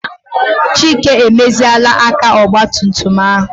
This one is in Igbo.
Chike emeziela aka ogbatumtum ahụ.